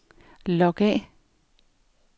log af